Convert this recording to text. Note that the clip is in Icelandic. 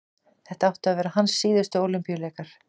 þetta áttu að vera hans síðustu ólympíuleikar